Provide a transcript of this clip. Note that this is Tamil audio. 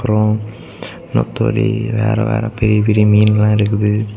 அப்புறம் வேற வேற பெரிய பெரிய மீன்கள் எல்லா இருக்குது.